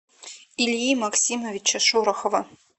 ильи максимовича шорохова